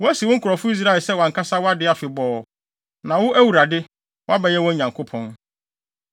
Woasi wo nkurɔfo Israel sɛ wʼankasa wʼade afebɔɔ, na wo, Awurade, woabɛyɛ wɔn Nyankopɔn.